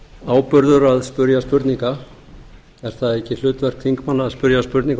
áburður að spyrja spurninga er það ekki hlutverk þingmanna að spyrja spurninga og